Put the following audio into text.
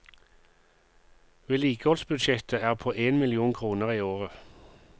Vedlikeholdsbudsjettet er på en million kroner i året.